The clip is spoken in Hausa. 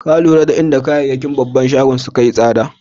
Ka lura da inda kayakin babban shagon sun yi sada?